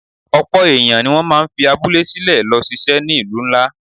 Ọ̀pọ̀ èèyàn ni wọ́n máa ń fi abúlé sílẹ̀ lọ ṣiṣẹ́ ní ìlú ńlá